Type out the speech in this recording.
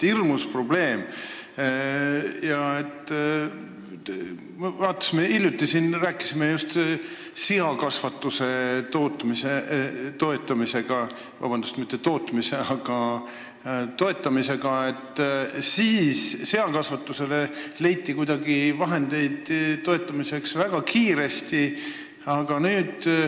Kui me siin hiljuti rääkisime seakasvatusest, siis selle toetamiseks leiti kuidagi väga kiiresti vahendeid.